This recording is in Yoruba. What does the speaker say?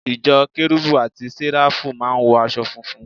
Ìjọ Kérubù àti Séráfù máà ń wọ aṣọ funfun